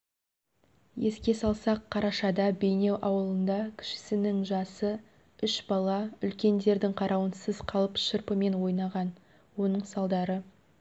еске салсақ қарашада бейнеу ауылында кішісінің жасы үш бала үлкендердің қарауынсыз қалып шырпымен ойнаған оның салдары